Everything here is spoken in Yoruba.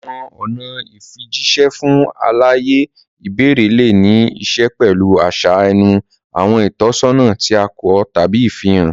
Àwọn ọ̀nà ìfijíṣẹ́ fún àlàyé ìbẹ̀rẹ̀ lè ní í ṣe pẹ̀lú àṣà ẹnu, àwọn ìtọ́sọ́nà tí a kọ, tàbí ìfihàn.